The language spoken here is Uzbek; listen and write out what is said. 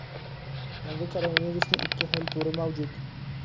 Yangi koronavirusning ikki xil turi mavjud.